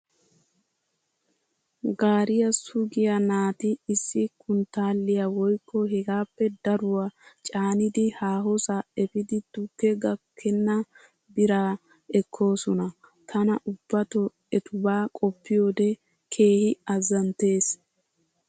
Gaariyaa sugiyaa naati issi kunttaalliyaa woykko hegaappe daruwaa caanidi haahosaa efidi tukke gakkenna biraa ekkoosona. Tana ubbato etubaa koppiyoodee keehi azzanttes.